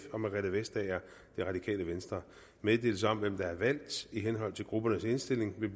og margrethe vestager meddelelser om hvem der er valgt i henhold til gruppernes indstilling vil